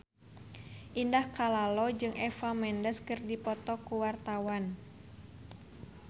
Indah Kalalo jeung Eva Mendes keur dipoto ku wartawan